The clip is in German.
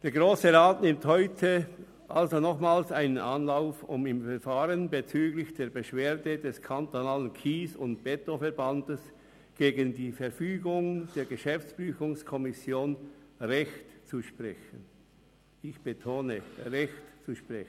Der Grosse Rat nimmt heute nochmals einen Anlauf, um im Verfahren bezüglich der Beschwerde des Kantonalen Kies- und Betonverbands (KSE Bern) gegen die Verfügung der GPK Recht zu sprechen – ich betone: Recht zu sprechen.